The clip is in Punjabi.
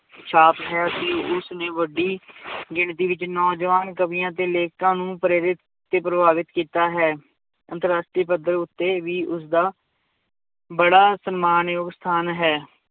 ਛਾਪ ਹੈ ਕਿ ਉਸ ਨੇ ਵੱਡੀ ਗਿਣਤੀ ਵਿੱਚ ਨੌਜਵਾਨ ਕਵੀਆਂ ਤੇ ਲੇਖਕਾਂ ਨੂੰ ਪ੍ਰੇਰਿਤ ਤੇ ਪ੍ਰਭਾਵਿਤ ਕੀਤਾ ਹੈ, ਅੰਤਰ ਰਾਸ਼ਟਰੀ ਪੱਧਰ ਉੱਤੇ ਵੀ ਉਸਦਾ ਬੜਾ ਸਨਮਾਨ ਯੋਗ ਸਥਾਨ ਹੈ l